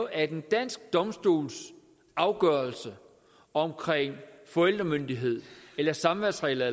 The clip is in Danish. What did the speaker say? at en dansk domstols afgørelse omkring forældremyndighed eller samværsregler